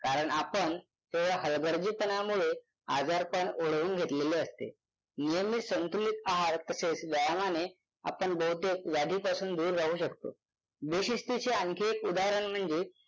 कारण आपण केवळ हलगर्जीपणामुळे आजारपण ओढवून घेतलेले असते. नियमित संतुलित आहार तसेच व्यायामाने आपण बहुतेक व्याधींपासून दूर राहू शकतो. बेशिस्तीचे आणखी एक उदाहरण म्हणजे